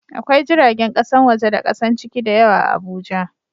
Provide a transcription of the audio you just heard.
Akwai jiragen kasan waje da kasan ciki da yawa a Abuja